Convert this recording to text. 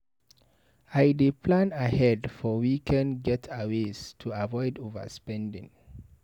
I dey plan ahead for weekend getaways to avoid overspending.